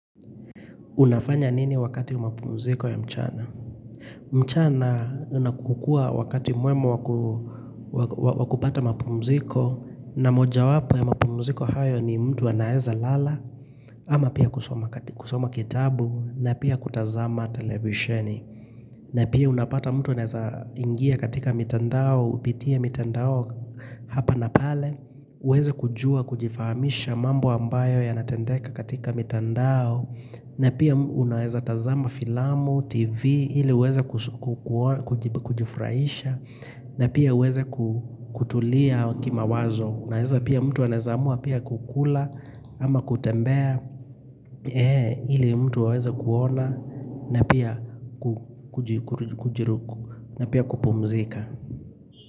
Unafanya nini wakati wa mapumziko ya mchana? Mchana unakukua wakati mwema wakupata mapumziko na moja wapo ya mapumziko hayo ni mtu anaeza lala ama pia kusoma kitabu na pia kutazama televisheni. Na pia unapata mtu anaeza ingia katika mitandao, upitie mitandao hapa na pale, uweze kujua, kujifahamisha mambo ambayo ya natendeka katika mitandao na pia unaweza tazama filamu, tv, ili uweze kujifurahisha na pia uweze kutulia kima wazo Unaeza pia mtu anewezamua pia kukula ama kutembea ili mtu aweze kuona na pia kupumzika.